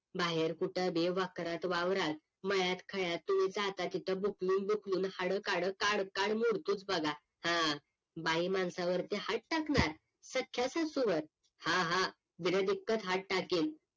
बाहेर कुठं बी वक्रात वावरात मळ्यात खळ्यात तुम्हीजाता तिथं बुकलून बुकलून हाडं काडं काड काड मोडतोच बघा हा बायमांसावरती हात टाकणार? संख्या सासूवर? हा हा बिना दिक्कत हात टाकीन